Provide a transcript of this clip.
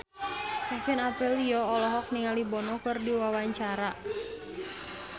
Kevin Aprilio olohok ningali Bono keur diwawancara